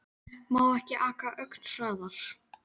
Má ekki aka ögn hraðar?